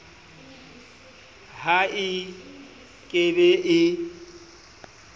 ha e ke be e